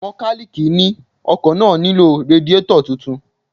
Mọkálíìkì ni ọkọ̀ náà nílò radiétọ̀ tuntun